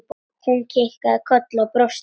Hún kinkaði kolli og brosti.